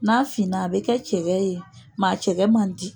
N'a finna a bɛ kɛ cɛkɛ ye a cɛkɛ man di.